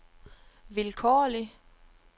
vilkårlig